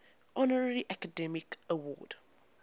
honorary academy award